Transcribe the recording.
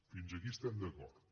fins aquí estem d’acord